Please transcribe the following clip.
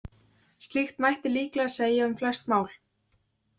Slíkt mætti líklega segja um flest mál.